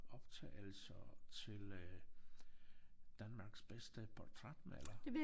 Optagelser til øh Danmarks bedste portrætmaler